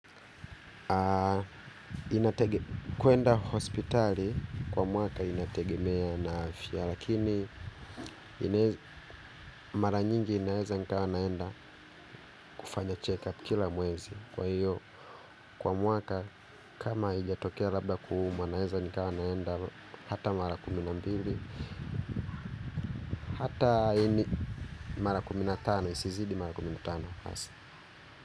Kwa kuenda hospitali kwa mwaka inategemea na afya. Lakini mara nyingi inaheza nikawa naenda kufanya check up kila mwezi. Kwa hiyo kwa mwaka kama ijatokea labda kuhumwa naheza nikawa naenda hata mara kuminambili. Hata ini mara kuminatano isizidi mara kuminatano.